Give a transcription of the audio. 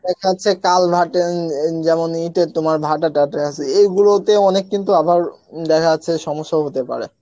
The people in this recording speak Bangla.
দেখা যাচ্ছে কাল ভাটে ইন ইন যেমন ইটের তোমার ভাটা টাটা আছে এগুলোতে অনেক কিন্তু আবার দেখা যাচ্ছে সমস্যা হতে পারে